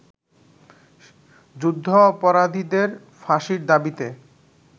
যুদ্ধাপরাধীদের ফাঁসির দাবীতে